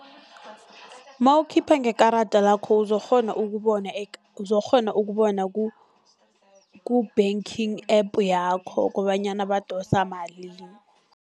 Nawukhipha ngekarada lakho uzokukghona ukubona, uzokukghona ukubona ku-banking app yakho kobanyana badosa malini.